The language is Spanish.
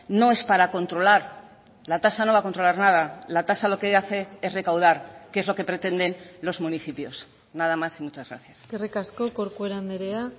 no es para controlar la tasa no va a controlar nada la tasa lo que hace es recaudar que es lo que pretenden los municipios nada más y muchas gracias eskerrik asko corcuera andrea